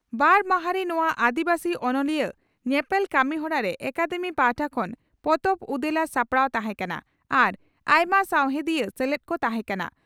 ᱵᱟᱨ ᱢᱟᱦᱟᱸᱨᱤ ᱱᱚᱣᱟ ᱟᱹᱫᱤᱵᱟᱹᱥᱤ ᱚᱱᱚᱞᱤᱭᱟᱹ ᱧᱮᱯᱮᱞ ᱠᱟᱹᱢᱤ ᱦᱚᱨᱟᱨᱮ ᱟᱠᱟᱫᱮᱢᱤ ᱯᱟᱦᱴᱟ ᱠᱷᱚᱱ ᱯᱚᱛᱚᱵ ᱩᱫᱮᱞᱟ ᱥᱟᱯᱲᱟᱣ ᱛᱟᱦᱮᱸ ᱠᱟᱱᱟ ᱟᱨ ᱟᱭᱢᱟ ᱥᱟᱣᱦᱮᱫᱤᱭᱟᱹ ᱥᱮᱞᱮᱫ ᱠᱚ ᱛᱟᱦᱮᱸ ᱠᱟᱱᱟ ᱾